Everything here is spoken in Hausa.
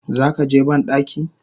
Zakaje bandaki?